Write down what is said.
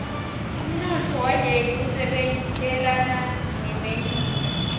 umnotfo waleli usebentelana nemelika